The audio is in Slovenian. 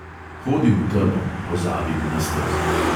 Hodim v temo, pozabim na stezo.